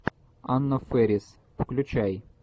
анна фэрис включай